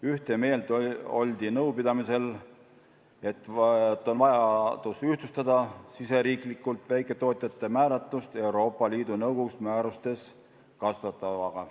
Ühte meelt oldi nõupidamisel selles, et on vajadus ühtlustada riigisisest väiketootjate määratlust Euroopa Liidu Nõukogu määrustes kasutatavaga.